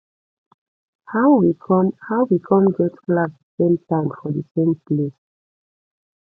how we come how we come get class the same time for the same place